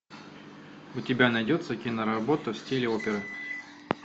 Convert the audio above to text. у тебя найдется киноработа в стиле оперы